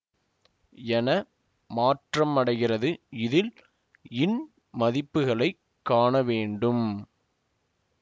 என மாற்றமடைகிறது இதில் இன் மதிப்புகளைக் காண வேண்டும்